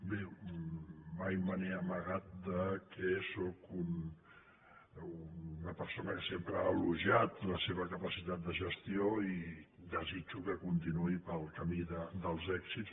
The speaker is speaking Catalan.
bé mai me n’he amagat que sóc una persona que sempre ha elogiat la seva capacitat de gestió i desitjo que continuï pel camí dels èxits